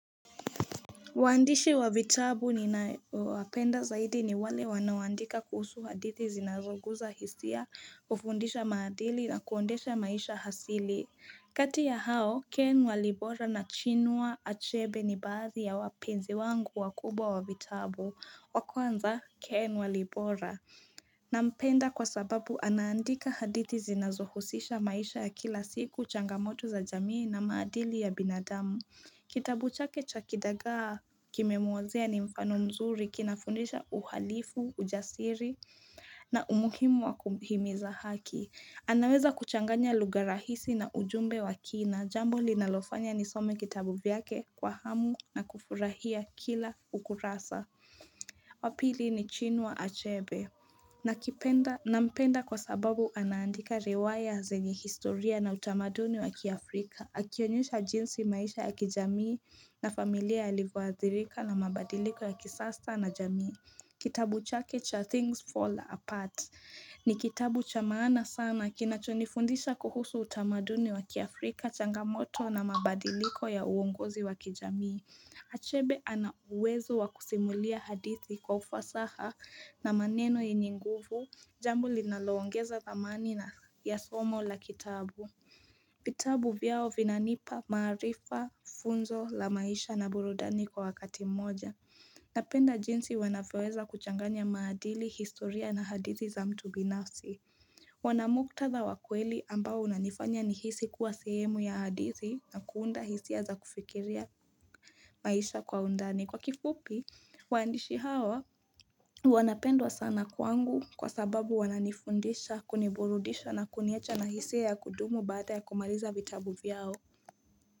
Wandishi wa vitabu ni wapenda zaidi ni wale wanawandika kuhusu hadithi zinazoguza hisia, kufundisha maadili na kuondesha maisha hasili. Kati ya hao, Ken walibora na chinua achebe ni baazi ya wapenzi wangu wakubwa wa vitabu. Wakuanza, Ken walibora. Na mpenda kwa sababu anaandika hadithi zinazohusisha maisha ya kila siku, changamoto za jamii na maadili ya binadamu. Kitabu chake cha kidagaa kime mwazia ni mfano mzuri kinafundisha uhalifu, ujasiri na umuhimu wa kuhimiza haki. Anaweza kuchanganya luga rahisi na ujumbe wa kina. Jambo li nalofanya ni some kitabu vyake kwa hamu na kufurahia kila ukurasa. Wapili ni Chinua Achebe. Na mpenda kwa sababu anaandika rewaya zenye historia na utamaduni wa kiafrika. Akionyusha jinsi maisha ya kijamii na familia yalivuadhirika na mabadiliko ya kisasta na jamii. Kitabu Chaketcha Things Fall Apart ni kitabu chamana sana kina chonifundisha kuhusu utamaduni waki Afrika changamoto na mabadiliko ya uongozi waki jamii. Achebe ana uwezu wakusimulia hadithi kufa saha na maneno inyinguvu. Jambu linaloongeza zamani na ya somo la kitabu. Vitabu vyao vinanipa marifa funzo la maisha na burudani kwa wakati moja Napenda jinsi wanafeweza kuchanganya maadili, historia na hadizi za mtu binafsi Wanamukta za wakweli ambao unanifanya ni hisi kuwa sehemu ya hadizi na kuunda hisi ya za kufikiria maisha kwa undani Kwa kifupi, waandishi hawa wanapendwa sana kwangu kwa sababu wananifundisha, kuniburudisha na kuniecha na hisi ya kudumu baata ya kumaliza vitabu vyao.